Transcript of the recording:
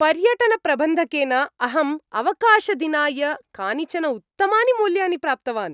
पर्यटनप्रबन्धकेन अहम् अवकाशदिनाय कानिचन उत्तमानि मूल्यानि प्राप्तवान्।